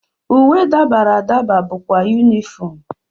Uwe dabara adaba bụkwa unifomu.